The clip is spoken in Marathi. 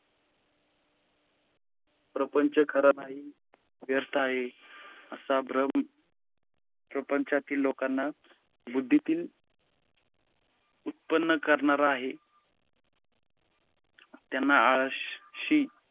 प्रपंच खरा नाही, व्य्रर्थ आहे. असा भ्रम प्रपंचातील लोकांच्या बुद्धीतील उत्पन्न करनारा आहे. त्य़ाना आळशी